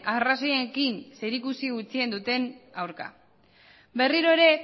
arrazoiekin zerikusi gutxien duten aurka berriro ere